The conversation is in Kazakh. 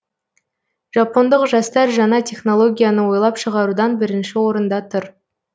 жапондық жастар жаңа технологияны ойлап шығарудан бірінші орында тұр